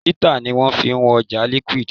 Lítà ni wọ́n fi ń wọn ọjà liquid.